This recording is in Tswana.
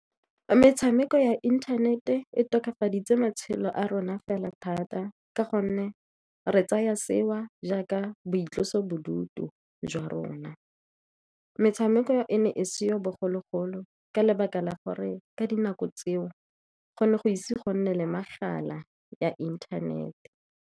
Metshameko ya inthanete e tokafaditse matshelo a rona fela thata, ka gonne re tsaya seo jaaka boitlosobodutu jwa rona. Metshameko e ne e seyo bogologolo, ka lebaka la gore ka dinako tseo go ne go ise go nne le megala ya inthanete.